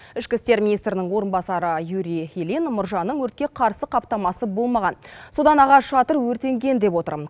ішкі істер министрінің орынбасары юрий ильин мұржаның өртке қарсы қаптамасы болмаған содан ағаш шатыр өртенген деп отыр